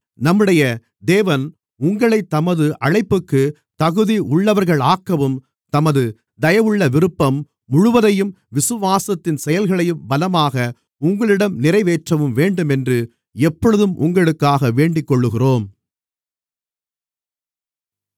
நம்முடைய தேவன் உங்களைத் தமது அழைப்புக்குத் தகுதியுள்ளவர்களாக்கவும் தமது தயவுள்ள விருப்பம் முழுவதையும் விசுவாசத்தின் செயல்களையும் பலமாக உங்களிடம் நிறைவேற்றவும் வேண்டுமென்று எப்பொழுதும் உங்களுக்காக வேண்டிக்கொள்ளுகிறோம்